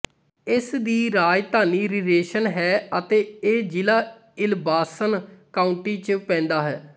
ਇਸ ਦੀ ਰਾਜਧਾਨੀ ਰਰੇਸ਼ਨ ਹੈ ਅਤੇ ਇਹ ਜ਼ਿਲਾ ਇਲਬਾਸਨ ਕਾਉਂਟੀ ਚ ਪੇਂਦਾ ਹੈ